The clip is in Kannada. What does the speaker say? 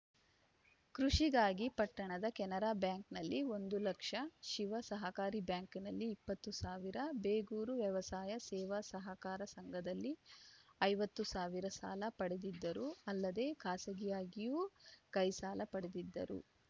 ಕೃಷಿಗಾಗಿ ಪಟ್ಟಣದ ಕೆನರಾ ಬ್ಯಾಂಕಿನಲ್ಲಿ ಒಂದು ಲಕ್ಷ ಶಿವ ಸಹಕಾರಿ ಬ್ಯಾಂಕಿನಲ್ಲಿ ಇಪ್ಪತ್ತು ಸಾವಿರ ಬೇಗೂರು ವ್ಯವಸಾಯ ಸೇವಾ ಸಹಕಾರ ಸಂಘದಲ್ಲಿ ಐವತ್ತು ಸಾವಿರ ಸಾಲ ಪಡೆದಿದ್ದರು ಅಲ್ಲದೆ ಖಾಸಗಿಯಾಗಿಯೂ ಕೈ ಸಾಲ ಪಡೆದಿದ್ದರು